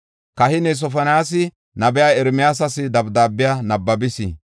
Kahiney Sofoniyaasi nabiya Ermiyaasas dabdaabiya nabbabis.